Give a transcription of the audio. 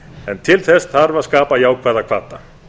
en til þess þarf að skapa jákvæða hvata